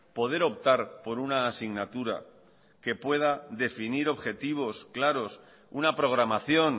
poder optar por una asignatura que pueda definir objetivos claros una programación